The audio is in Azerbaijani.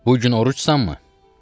Bu gün orucsanmı?